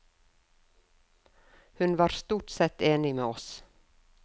Hun var stort sett enig med oss.